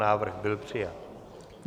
Návrh byl přijat.